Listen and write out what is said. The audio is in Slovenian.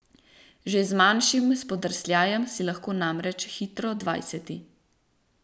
Že z manjšim spodrsljajem si lahko namreč hitro dvajseti.